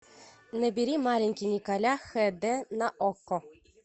набери маленький николя хд на окко